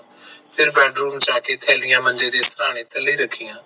ਫੇਰ bedroom ਚ ਜਾ ਕੇ ਥੈਲੀਆਂ ਮੰਜੇ ਦੇ ਸਰਾਣੇ ਦੇ ਥੱਲੇ ਰੱਖਿਆ